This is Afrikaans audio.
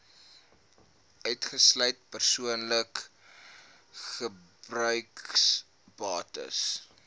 uitgesluit persoonlike gebruiksbates